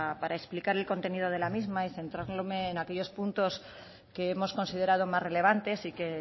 para explicar el contenido de la misma y centrarme en aquellos puntos que hemos considerado más relevantes y que